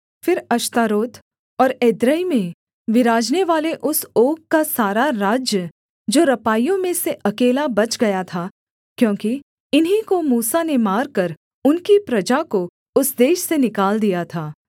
फिर अश्तारोत और एद्रेई में विराजनेवाले उस ओग का सारा राज्य जो रपाइयों में से अकेला बच गया था क्योंकि इन्हीं को मूसा ने मारकर उनकी प्रजा को उस देश से निकाल दिया था